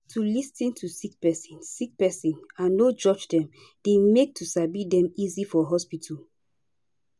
to lis ten to sick pesin sick pesin and no judge dem dey make to sabi dem easy for hospitol